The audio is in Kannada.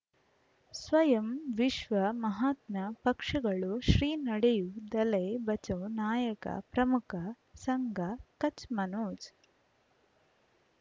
ಸ್ವಯಂ ವಿಶ್ವ ಮಹಾತ್ಮ ಪಕ್ಷಗಳು ಶ್ರೀ ನಡೆಯೂ ದಲೈ ಬಚೌ ನಾಯಕ ಪ್ರಮುಖ ಸಂಘ ಕಚ್ ಮನೋಜ್